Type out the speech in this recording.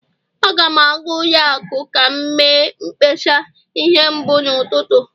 Aga m aga ụlọ akụ ka m mee mkpesa ihe mbụ n'ụtụtụ